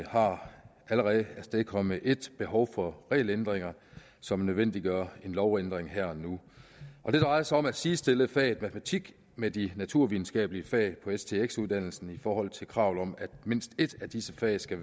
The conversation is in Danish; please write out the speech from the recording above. har allerede afstedkommet et behov for regelændringer som nødvendiggør en lovændring her og nu det drejer sig om at sidestille faget matematik med de naturvidenskabelige fag på stx uddannelsen i forhold til kravet om at mindst et af disse fag skal